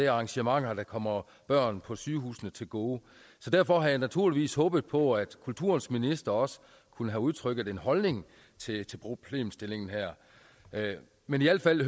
arrangementer der kommer børn på sygehusene til gode derfor havde jeg naturligvis håbet på at kulturens minister også kunne have udtrykt en holdning til til problemstillingen her men i al fald